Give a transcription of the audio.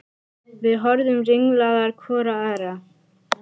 Við horfðum ringlaðar hvor á aðra.